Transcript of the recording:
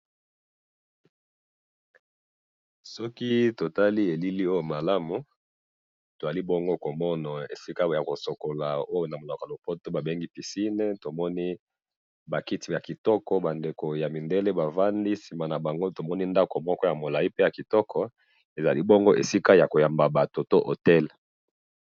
soki totali elili oyo malamu tozali bongo komona oyo esika ya ko sokola ba bengaka na munoko ya lopoto babengi piscine tomoni ba kiti ya kitoko ba ndeko ya mindele bvandi nasima nabango tomoni ndaku moko ya kitoko ezali esiko ya koyamba batuu ezali esika oyo hotel